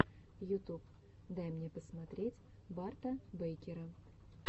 ютуб дай мне посмотреть барта бэйкера